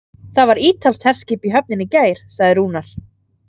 Það var ítalskt herskip í höfninni í gær, sagði Rúnar.